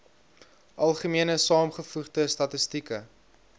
algemene saamgevoegde statistieke